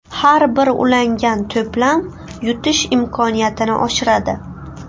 Har bir ulangan to‘plam yutish imkoniyatini oshiradi.